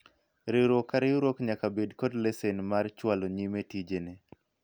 riwruok ka riwruok nyaka bed kod lesen mar chwalo nyime tije ne